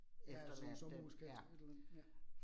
Ja, sådan sommerhuskvarter et eller andet, ja